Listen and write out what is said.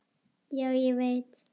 Já, ég veit